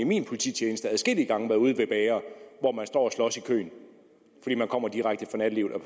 min polititjeneste adskillige gange været ude ved bagere hvor man står og slås i køen fordi man kommer direkte fra nattelivet og